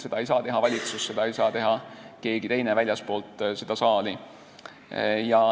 Seda ei saa teha valitsus, seda ei saa teha keegi teine väljastpoolt seda saali.